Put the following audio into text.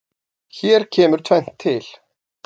Hér kemur tvennt til.